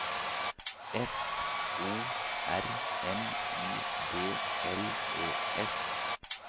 F O R M I D L E S